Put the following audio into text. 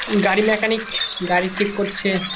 গাড়ি মেকানিক গাড়ি ঠিক করছে ।